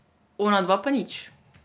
Onadva pa nič.